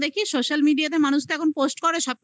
তো দেখি social media তে মানুষ তো এখন post করে.